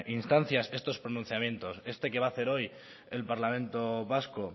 instancias estos pronunciamientos este que va a hacer hoy el parlamento vasco